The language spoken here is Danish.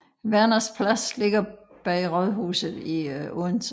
Werners Plads ligger bag rådhuset i Odense